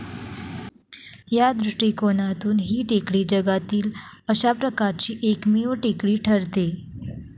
या दृष्टिकोनातून ही टेकडी जगातील अशा प्रकारची एकमेव टेकडी ठरते.